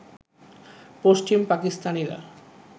পশ্চিম পাকিস্তানিরা